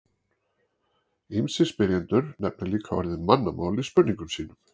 ýmsir spyrjendur nefna líka orðið mannamál í spurningum sínum